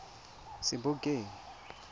sebokeng